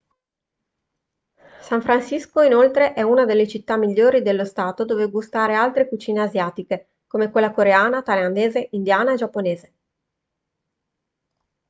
san francisco inoltre è una delle città migliori dello stato dove gustare altre cucine asiatiche come quella coreana thailandese indiana e giapponese